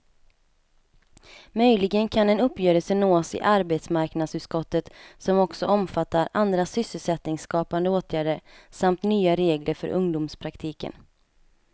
Möjligen kan en uppgörelse nås i arbetsmarknadsutskottet som också omfattar andra sysselsättningsskapande åtgärder samt nya regler för ungdomspraktiken.